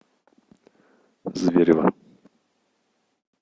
зверево